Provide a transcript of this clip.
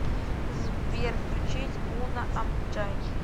сбер включить уно амбджай